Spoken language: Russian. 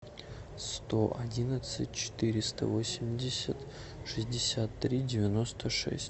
сто одиннадцать четыреста восемьдесят шестьдесят три девяносто шесть